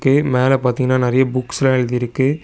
எ மேல பாத்தீங்கன்னா நெறைய புக்ஸ்லா எழுதிருக்கு.